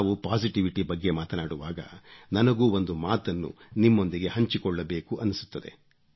ನಾವು ಪಾಸಿಟಿವಿಟಿ ಬಗ್ಗೆ ಮಾತಾಡುವಾಗ ನನಗೂ ಒಂದು ಮಾತನ್ನು ನಿಮ್ಮೊಂದಿಗೆ ಹಂಚಿಕೊಳ್ಳಬೇಕೆನ್ನಿಸುತ್ತಿದೆ